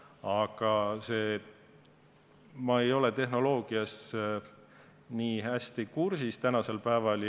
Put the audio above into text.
Aga ma ei ole tehnoloogiaga nii hästi tänasel päeval kursis.